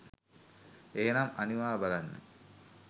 එහෙනම් අනිවා බලන්න